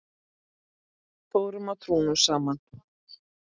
Fórum á trúnó saman.